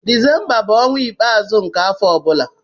Desemba bụ ọnwa ikpeazụ nke afọ ọ bụla.